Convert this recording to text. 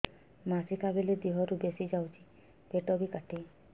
ମାସିକା ବେଳେ ଦିହରୁ ବେଶି ଯାଉଛି ପେଟ ବି କାଟେ